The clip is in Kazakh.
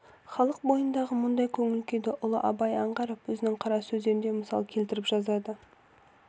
халық бойындағы мұндай көңіл-күйді ұлы абай аңғарып өзінің қара сөздерінде мысал келтіріп жазады